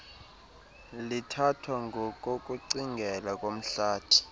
lithathwa ngokokucingela komhlathi